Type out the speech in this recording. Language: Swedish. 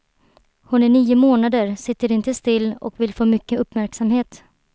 Hon är nio månader, sitter inte still och vill få mycket uppmärksamhet.